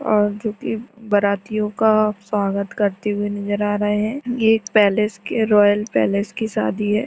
और जो कि बारातियों का स्वागत करते हुए नजर आ रहे हैं । ये एक पैलेस के रॉयल पैलेस की शादी है ।